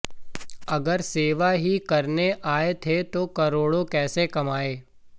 अगर सेवा ही करने आए थे तो करोड़ों कैसे कमाए